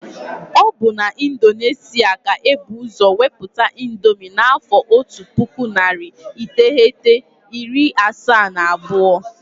Ọ bụ na Indonesia ka ebu ụzọ weputa índomi n' afọ ọtu pụkụ narị iteghete, iri asaa na abụọ.